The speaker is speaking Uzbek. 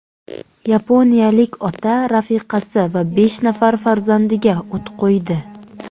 Yaponiyalik ota rafiqasi va besh nafar farzandiga o‘t qo‘ydi.